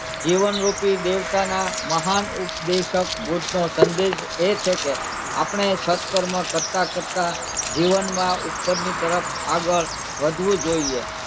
જીવનરૂપી દેવતાનાં મહાન ઉપદેશક બુદ્ધનો સંદેશ એ છે કે આપણે સત્કર્મ કરતાં કરતાં જીવનમાં ઉપરની તરફ આગળ વધવું જોઈએ.